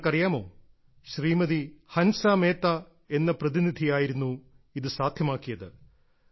നിങ്ങൾക്കറിയാമോ ശ്രീമതി ഹൻസ മേത്ത എന്ന പ്രതിനിധിയായിരുന്നു ഇത് സാധ്യമാക്കിയത്